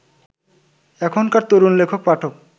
এখনকার তরুণ লেখক-পাঠক